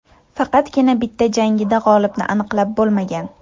Faqatgina bitta jangida g‘olibni aniqlab bo‘lmagan.